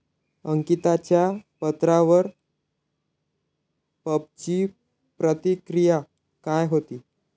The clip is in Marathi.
अंकिताच्या पत्रावर पबची प्रतिक्रिया काय होती?